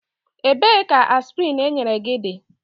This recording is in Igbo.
Ebee ka aspịrịn enyere gị dị?